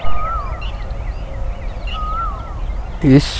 इस--